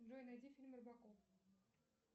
джой найди фильм робокоп